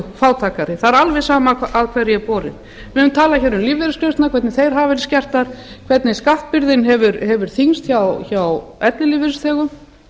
fátækari það er alveg sama hvar er borið niður við höfum talað um lífeyrisgreiðslurnar hvernig þær hafa verið skertar hvernig skattbyrðin hefur þyngst hjá ellilífeyrisþegum